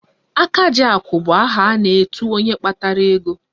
Akajiakụ bụ aha a na-etu onye kpatara ego